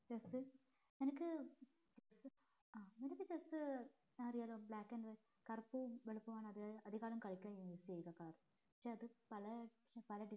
chess നിനക്ക് ആ നിനക്ക് chess അറിയാലോ black കറുപ്പും വെളുപ്പും ആണത് കളിക്കാൻ use ചെയ്യുന്ന color പക്ഷെ അത് പല പല